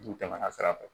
N'u tɛmɛna sira fɛ